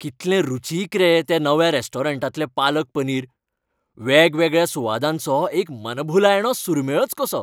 कितलें रुचीक रे त्या नव्या रेस्टॉरंटांतलें पालक पनीर. वेगवेगळ्या सुवादांचो एक मनभुलायणो सुरमेळच कसो!